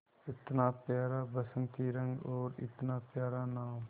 इतना प्यारा बसंती रंग और इतना प्यारा नाम